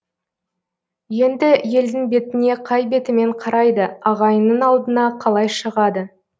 енді елдің бетіне қай бетімен қарайды ағайынның алдына қалай шығады